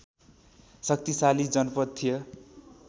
शक्तिशाली जनपद थियो